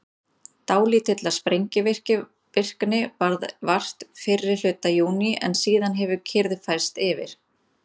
Dálítillar sprengivirkni varð vart fyrri hluta júní en síðan hefur kyrrð færst yfir.